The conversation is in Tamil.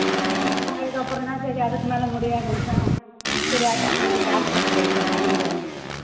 அதுக்கப்புறம்தான் சரி அதுக்கு மேல முடியாதுன்னுதான் சரி இது doctor க்கு try பண்ணலாம்ன்னு இங்க வந்துட்டோம்